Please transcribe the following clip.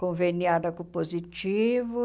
conveniada com o positivo.